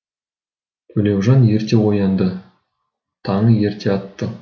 төлеужан ерте оянды таңы ерте атты